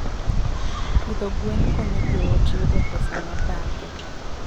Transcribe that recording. Pidho gwen konyo joot yudo pesa mabathe.